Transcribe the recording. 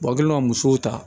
kɛlen ka musow ta